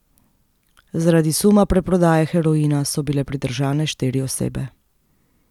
Zaradi suma preprodaje heroina so bile pridržane štiri osebe.